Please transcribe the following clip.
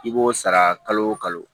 I b'o sara kalo o kalo